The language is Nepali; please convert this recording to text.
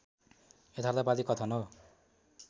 यथार्थवादी कथन हो